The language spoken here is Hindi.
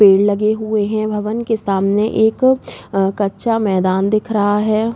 पेड़ लगे हुए हैं। भवन के सामने एक कच्चा मैदान दिख रहा है।